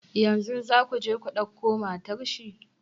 Yanzu za ku je ku dauko matar shi?